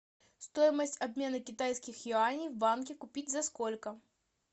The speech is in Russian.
стоимость обмена китайских юаней в банке купить за сколько